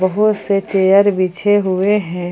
बहोत से चेयर बिछे हुए हैं।